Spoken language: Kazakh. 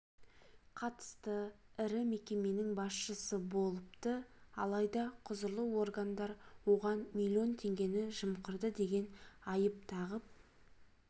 қатысты ірі мекеменің басшысы болыпты алайда құзырлы органдар оған миллион теңгені жымқырды деген айып тағып